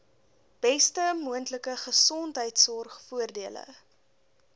beste moontlike gesondheidsorgvoordele